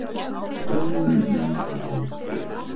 Dómunum var áfrýjað